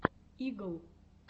игл